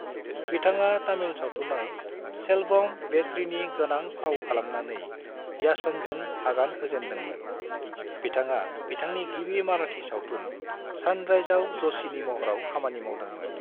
बिथाङा तामिल सावथुनाव सेल्वम / वेट्रीनि गोनां फाव खालामनानै याचनजों आगान होजेनदोंमोन, बिथाङा बिथांनि गिबि माराठी सावथुन सानराइजआव जशीनि महराव खामानि मावदोंमोन।